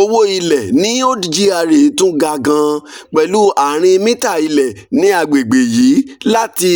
owó ilẹ̀ ní old gra tún ga gan-an pẹ̀lú ààrin mítà ilẹ̀ ní àgbègbè yìí láti